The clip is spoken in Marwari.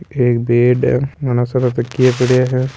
एक बेड है घणा सारा तकिया पड़ा हैं।